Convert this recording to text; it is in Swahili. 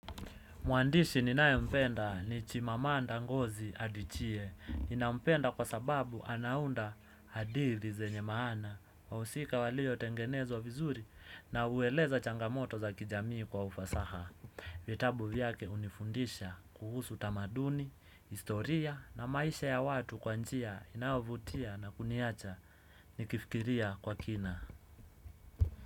Mwandishi ninayempenda ni Chimamanda Ngozi Adichie. Ninampenda kwa sababu anaunda hadithi zenye maana. Wahusika waliotengenezwa vizuri na hueleza changamoto za kijamii kwa ufasaha. Vitabu vyake hunifundisha kuhusu tamaduni, historia na maisha ya watu kwa njia inayovutia na kuniacha. Nikifikiria kwa kina.